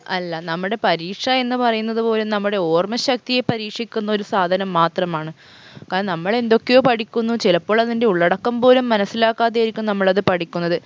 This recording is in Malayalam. അല്ല നമ്മുടെ പരീക്ഷ എന്ന് പറയുന്നത് പോലും നമ്മുടെ ഓര്‍മ്മ ശക്തിയെ പരീക്ഷിക്കുന്ന ഒരു സാധനം മാത്രമാണ് കാരണം നമ്മളെന്തൊക്കെയോ പഠിക്കുന്നു ചിലപ്പോൾ അതിൻറെ ഉള്ളടക്കം പോലും മനസ്സിലാക്കാതെയായിരിക്കും നമ്മളത് പഠിക്കുന്നത്